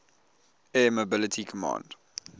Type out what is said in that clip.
air mobility command